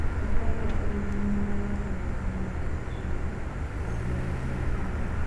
Nyoka ĩrĩa ĩrī thumu mūrūrū thĩ yothe nī ya Austria gĩcũainĩ kĩa Taiwa.